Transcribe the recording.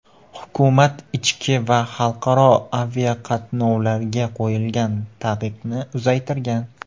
Hukumat ichki va xalqaro aviaqatnovlarga qo‘yilgan taqiqni uzaytirgan.